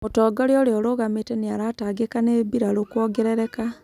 mũtongoria ũrĩa ũrũgamĩte nĩaratangĩka nĩ mbirarũ kuongerereka